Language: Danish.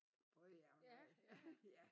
Både ja og nej ja